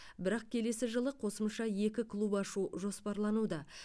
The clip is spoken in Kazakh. бірақ келесі жылы қосымша екі клуб ашу жоспарлануда